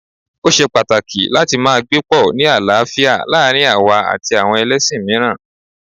Ó ṣe pàtàkì láti máa gbé pọ̀ ni àlàáfíà láàárín àwa àti àwọn ẹlẹ́ṣin mìíràn